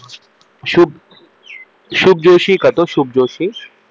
शुभ जोशी करतो शुभ जोशी